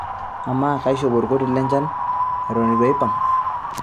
amaa kaishop olkoti lenchan eton eitu aipang'